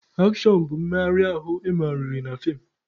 Akshọn bụ mmegharị ahụ emegasịrị na feem.